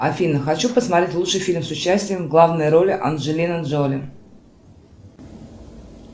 афина хочу посмотреть лучший фильм с участием в главной роли анджелины джоли